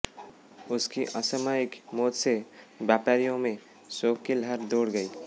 उसकी असामायिक मौत से व्यापारियों में शौक की लहर दौड़ गई